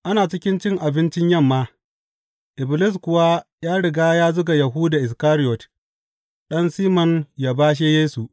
Ana cikin cin abincin yamma, Iblis kuwa ya riga ya zuga Yahuda Iskariyot, ɗan Siman yă bashe Yesu.